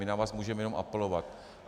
My na vás můžeme jenom apelovat.